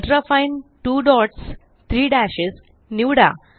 ultrafine 2 dots 3 dashes निवडा